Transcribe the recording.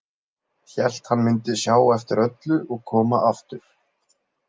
Hélt hann mundi sjá eftir öllu og koma aftur.